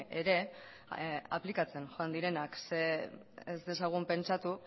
ere aplikatzen joan direnak ze ez dezagun pentsatu